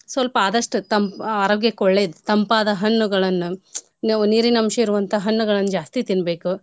ಸ್ವಲ್ಪ ಆದಷ್ಟು ತಂಪ್ ಆರೋಗ್ಯಕ್ಕ್ ಒಳ್ಳೇದ್ ತಂಪಾದ ಹಣ್ಣುಗಳನ್ನ ನಾವು ನಿರೀನ್ ಅಂಶ ಇರುವಂತ ಹಣ್ಣುಗಳನ್ನ ಜಾಸ್ತಿ ತೀನ್ಬೇಕ್.